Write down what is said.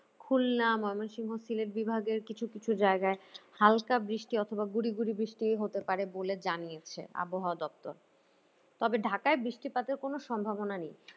খুলনা সিলেট বিভাগের কিছু কিছু জায়গায় হালকা বৃষ্টি অথবা গুড়ি গুড়ি বৃষ্টি হতে পারে বলে জানিয়েছে আবহাওয়া দপ্তর তবে ঢাকায় বৃষ্টিপাতের কোনো সম্ভাবনা নেই